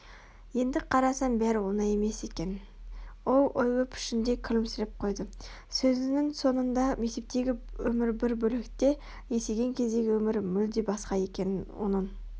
енді қарасам бәрі оңай емес екен ол ойлы пішінде күлімсіреп қойды сөзінің соңында мектептегі өмір бір бөлек те есейген кездегі өмір мүлде басқа екенін оның